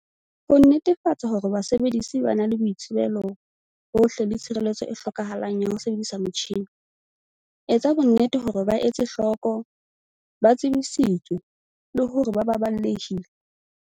Ho nnetefatsa hore basebedisi ba na le boitsebelo bohle le tshireletso e hlokahalang ya ho sebedisa metjhine. Etsa bonnete hore ba etse hloko, ba tsebisitswe, le hore ba baballehile.